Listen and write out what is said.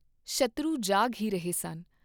ਸ਼ੱਤਰੂ ਜਾਗ ਹੀ ਰਹੇ ਸਨ।